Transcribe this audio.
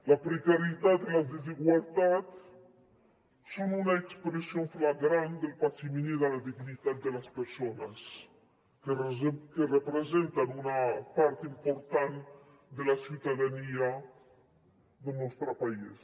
la precarietat i les desigualtats són una expressió flagrant del patiment i de la dignitat de les persones que representen una part important de la ciutadania del nostre país